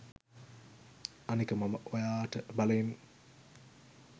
අනික මම ඔයාට බලෙන්